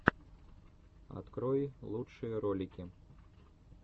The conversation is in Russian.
открой лучшие ролики